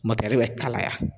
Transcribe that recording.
mɔtɛri bɛ kalaya